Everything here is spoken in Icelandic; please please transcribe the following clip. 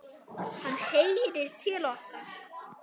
Hann heyrir til okkar.